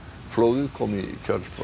flóðið kom í kjölfar